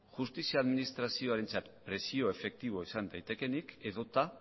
justizia administrazioarentzat presio efektiboa izan daitekeenik edota